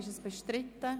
Ist dies bestritten?